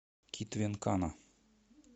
китве нкана